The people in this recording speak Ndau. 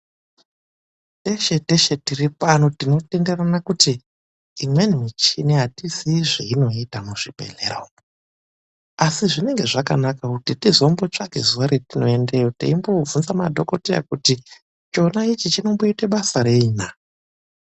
TESHE TESHE TIRIPANO TINOTENDERANA KUTI IMWENI MICHINI ATIZIYI ZVEINOITA MUZVIBEHLERA UMU ASI ZVINENGE ZVAKANAKA KUTI TIZIMBOTSVAKA ZUWA RIMWENI TIENDEYO TEIMBOOBVUNZA MADHOKODEYA KUTI CHONA ICHI CHINOMBOITA BASA REI NAA!.